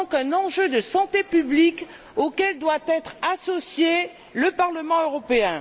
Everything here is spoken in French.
C'est donc un enjeu de santé publique auquel doit être associé le Parlement européen.